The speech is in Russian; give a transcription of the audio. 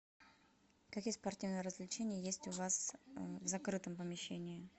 какие спортивные развлечения есть у вас в закрытом помещении